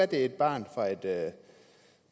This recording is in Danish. det er et barn fra et